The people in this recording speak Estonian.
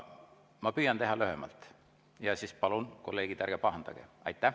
Ma püüan teha lühemalt ja siis palun, kolleegid, ärge pahandage.